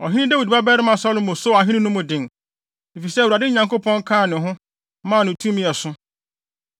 Ɔhene Dawid babarima Salomo soo ahenni no mu den, efisɛ Awurade, ne Nyankopɔn kaa ne ho maa no tumi a ɛso.